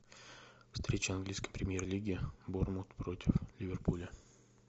встреча английской премьер лиги борнмут против ливерпуля